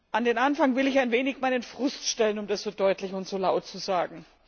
An den Anfang will ich ein wenig meinen Frust stellen, um das so deutlich und so laut zu sagen.